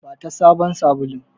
Bata sabon sabulun!